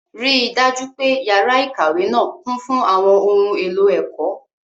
Rí i dájú pé yàrá ìkàwé náà kún fún àwọn ohun èlò ẹ̀kọ́.